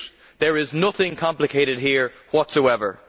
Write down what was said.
There is nothing complicated here whatsoever.